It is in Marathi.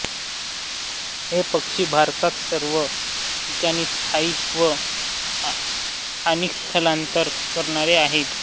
हे पक्षी भारतात सर्व ठिकाणी स्थायिक व स्थानिक स्थलांतर करणारे आहेत